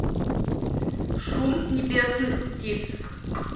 шум небесных птиц